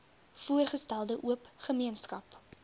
voorgestelde oop gemeenskap